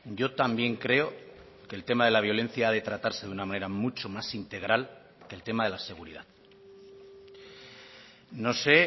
yo también creo que el tema de la violencia ha de tratarse de una manera mucho más integral que el tema de la seguridad no sé